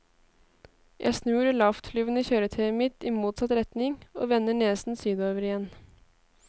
Jeg snur det lavtflyvende kjøretøyet mitt i motsatt retning, og vender nesen sydover igjen.